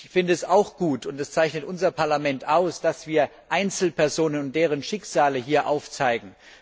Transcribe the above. Ich finde es auch gut und das zeichnet unser Parlament aus dass wir Einzelpersonen und deren Schicksale hier aufzeigen.